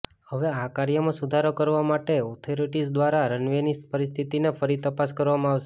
હવે આ કાર્યમાં સુધારો કરવા માટે ઓથોરિટીઝ દ્વારા રનવેની પરિસ્થિતિની ફરી તપાસ કરવામાં આવશે